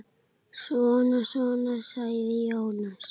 Svona svona, sagði Jónas.